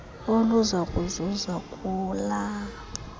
oluza kuzuza kula